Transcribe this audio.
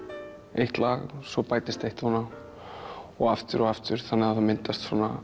eitt lag svo bætist eitt ofan á og aftur og aftur þannig að það myndast svona